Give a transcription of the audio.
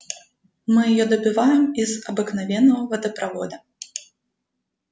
мы её добываем из обыкновенного водопровода